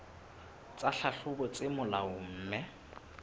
tsa tlhahlobo tse molaong mme